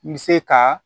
N bɛ se ka